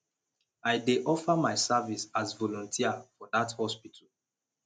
i dey offer my service as volunteer for dat hospital